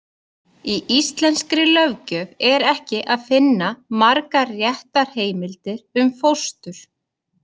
Í íslenskri löggjöf er ekki að finna margar réttarheimildir um fóstur.